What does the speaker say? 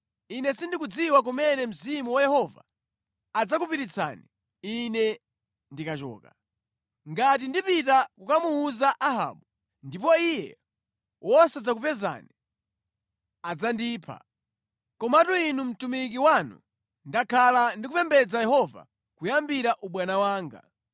Ine sindikudziwa kumene Mzimu wa Yehova udzakupititsani ine ndikachoka. Ngati ndipita kukamuwuza Ahabu ndipo iye wosadzakupezani, adzandipha. Komatu ine mtumiki wanu ndakhala ndi kupembedza Yehova kuyambira ubwana wanga.